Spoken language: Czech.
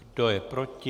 Kdo je proti?